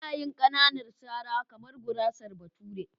Ina yin ƙananan sara kamar gurasar bature.